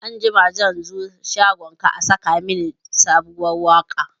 Anjima zan zo shagonka a saka mini sabuwar waka